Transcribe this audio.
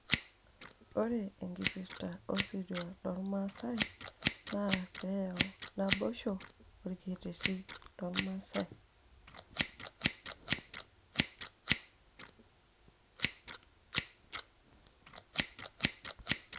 ore enkiprta osirua loormaasai naa pee eyau naboisho orkereti loormaasae.